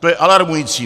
To je alarmující.